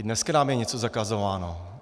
I dneska nám je něco zakazováno.